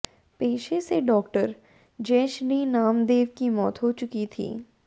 पेशे से डॉक्टर जयश्री नामदेव की मौत हो चुकी थी